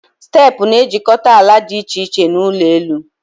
Steepụ na-ejikọta ala dị iche iche na ụlọ elụ